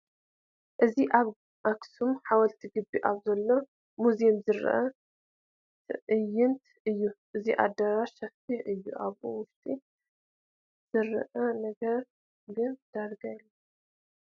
እዚ ኣብ ኣኽሱም ሓወልቲ ግቢ ኣብ ዘሎ ሙዝየም ዝርአ ትዕይንት እዩ፡፡ እቲ ኣዳራሽ ሰፊሕ እዩ ኣብኡ ውሽጢ ዝርአ ነገር ግን ዳርጋ የለን፡፡